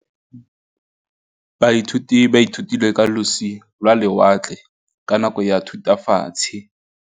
Baithuti ba ithutile ka losi lwa lewatle ka nako ya Thutafatshe.